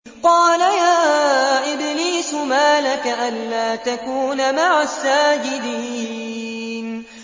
قَالَ يَا إِبْلِيسُ مَا لَكَ أَلَّا تَكُونَ مَعَ السَّاجِدِينَ